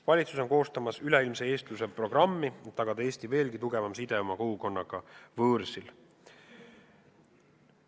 Valitsus koostab üleilmse eestluse programmi, et tagada Eesti veelgi tugevam side oma kogukonnaga võõrsil.